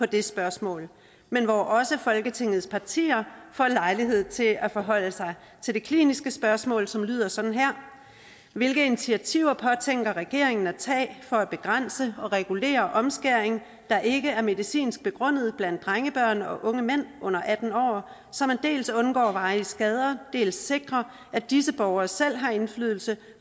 det spørgsmål men hvor også folketingets partier får lejlighed til at forholde sig til det kliniske spørgsmål som lyder sådan her hvilke initiativer påtænker regeringen at tage for at begrænse og regulere omskæring der ikke er medicinsk begrundet af drengebørn og unge mænd under atten år så man dels undgår varige skader og dels sikrer at disse borgere selv har indflydelse